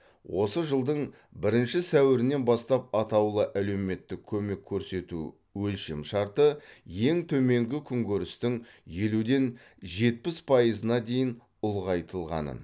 осы жылдың бірінші сәуірінен бастап атаулы әлеуметтік көмек көрсету өлшемшарты ең төменгі күнкөрістің елуден жетпіс пайызына дейін ұлғайтылғанын